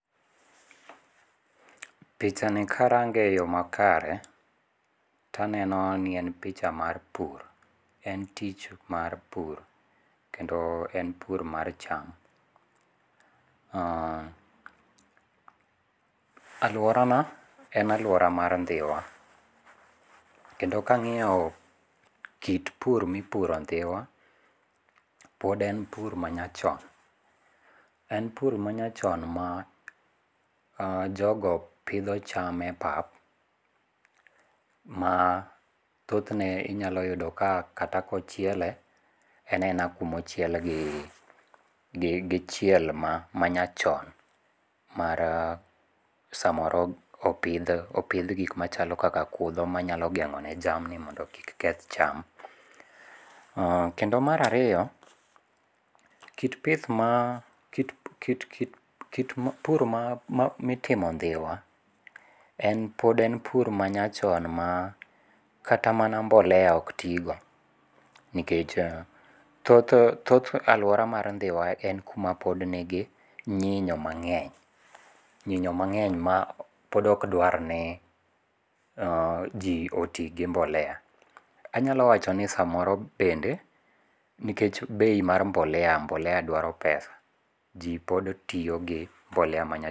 Pichani karange e yo makare, to aneno ni en picha mar pur. En tich mar pur. Kendo en pur mar cham. um alworana, en alwora mar Ndhiwa. Kendo kangíyo kit pur mipuro ndhiwa, pod en pur ma nyachon. En pur ma nyachon ma um jogo pidho cham e pap, ma thothne inyalo yudo ka, kata kochiele, en aena kuma ochiel gi, gi chiel ma, ma nyachon. Mar samoro opidh, opidh gik machalo kaka kudho manyalo gengó ne jamni mondo kik keth cham. umKendo mar ariyo, kit pith ma, kit pur ma mitimo Ndhiwa en, pod en pur manyachon ma kata mana mbolea ok ti go. Nikech, thoth, thoth alwora mar Ndhiwa en kuma pod nigi nyinyo mangény, nyinyo mangény ma pod okdwar ni um ji oti gi mbolea. Anyalo wacho ni samoro bende, nikech bei mar mbolea, mbolea dwaro pesa. Ji pod tiyo gi mbolea ma nyachon.